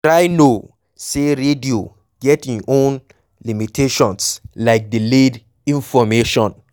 try know sey radio get im own limitations like delayed information